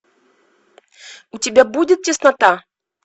у тебя будет теснота